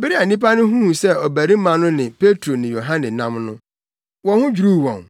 Bere a nnipa no huu sɛ ɔbarima no ne Petro ne Yohane nam no, wɔn ho dwiriw wɔn;